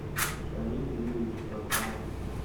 шамиль юрьевич прочанов